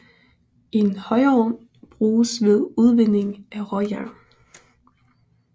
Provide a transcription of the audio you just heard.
En højovn bruges ved udvinding af råjern